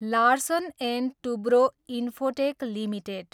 Larsen and Toubro Infotech limited